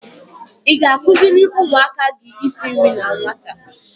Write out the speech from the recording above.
I ga-akụziri ụmụaka gị isi nri na nwata?